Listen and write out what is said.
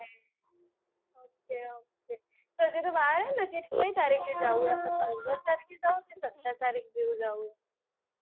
તો હજુ વાર છે ને કેટલી તારીખ આપડે જવું છે પંદર તારીખે જવું છે કે સત્તર તારીખે જેવું જવું છે.